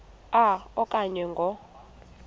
a okanye ngo